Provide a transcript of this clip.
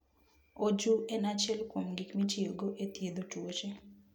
Oju en achiel kuom gik mitiyogo e thiedho tuoche.